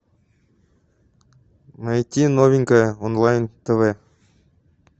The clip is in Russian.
найти новенькое онлайн тв